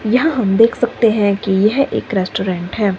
यहां हम देख सकते हैं कि यह एक रेस्टोरेंट है।